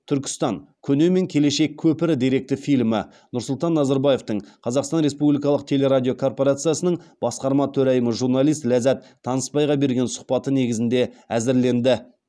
түркістан көне мен келешек көпірі деректі фильмі нұрсұлтан назарбаевтың қазақстан республикалық телерадиокорпорациясының басқарма төрайымы журналист ләззат танысбайға берген сұхбаты негізінде әзірленді